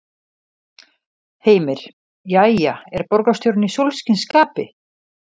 Heimir: Jæja, er borgarstjórinn í sólskinsskapi?